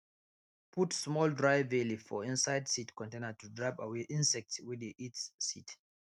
put small dry bay leaf for inside seed container to drive away insects wey dey eat seed